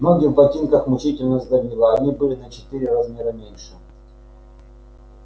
ноги в ботинках мучительно сдавило они были на четыре размера меньше